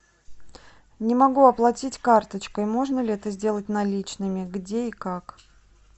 не могу оплатить карточкой можно ли это сделать наличными где и как